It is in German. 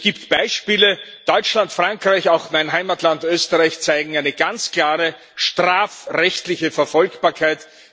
Es gibt Beispiele Deutschland, Frankreich, auch mein Heimatland Österreich zeigen eine ganz klare strafrechtliche Verfolgbarkeit.